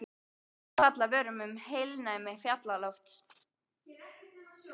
Orð falla af vörum um heilnæmi fjallalofts.